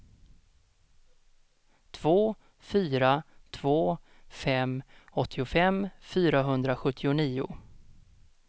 två fyra två fem åttiofem fyrahundrasjuttionio